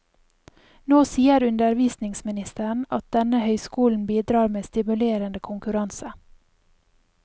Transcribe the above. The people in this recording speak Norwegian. Nå sier undervisningsministeren at denne høyskolen bidrar med stimulerende konkurranse.